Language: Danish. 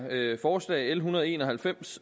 forslag l en hundrede og en og halvfems